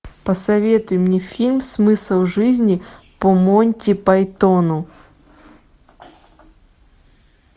посоветуй мне фильм смысл жизни по монти пайтону